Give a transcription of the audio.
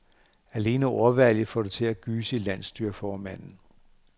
Alene ordvalget får det til at gyse i landsstyreformanden.